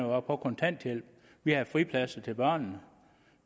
var på kontanthjælp vi havde fripladser til børnene